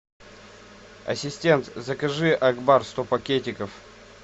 ассистент закажи акбар сто пакетиков